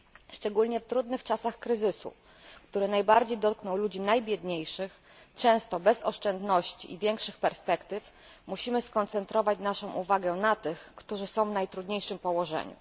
Szczególnie w trudnych czasach kryzysu, które najbardziej dotkną ludzi najbiedniejszych, często bez oszczędności i większych perspektyw, musimy skoncentrować naszą uwagę na tych, którzy są w najtrudniejszym położeniu.